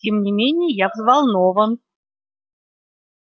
тем не менее я взволнован